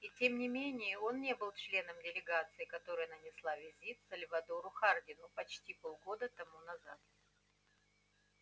и тем не менее он не был членом делегации которая нанесла визит сальвадору хардину почти полгода тому назад